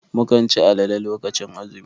Mukan cin alale lokacin azumi.